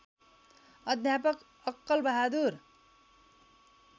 अध्यापक अक्कल बहादुर